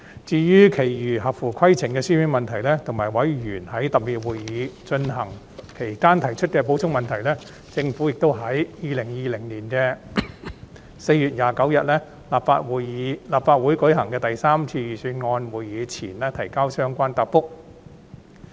至於其餘合乎規程的書面質詢，以及委員在特別會議進行期間提出的補充質詢，政府已在2020年4月29日立法會舉行的第三次預算案會議前提交相關答覆。